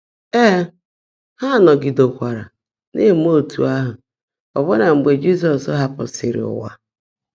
Ée, há nọ́gídeékwaárá ná-èmé ọ́tú́ áhụ́ ọ́bụ́ná mgbe Jị́zọ́s haàpụ́sị́rị́ ụ́wà.